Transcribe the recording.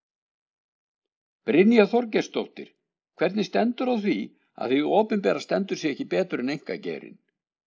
Brynja Þorgeirsdóttir: Hvernig stendur á því að hið opinbera stendur sig ekki betur en einkageirinn?